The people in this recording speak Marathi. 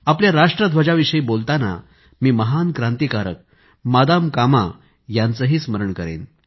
आपल्या राष्ट्रध्वजाविषयी बोलतांना मी महान क्रांतिकारक मादाम कामा यांचेही स्मरण करेन